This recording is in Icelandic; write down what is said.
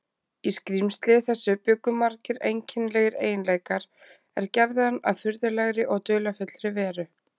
Í skrímsli þessu bjuggu margir einkennilegir eiginleikar, er gerðu hann að furðulegri og dularfullri veru.